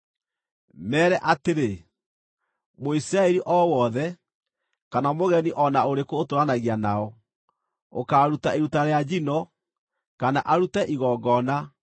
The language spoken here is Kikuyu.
“Meere atĩrĩ: ‘Mũisiraeli o wothe, kana mũgeni o na ũrĩkũ ũtũũranagia nao, ũkaaruta iruta rĩa njino, kana arute igongona,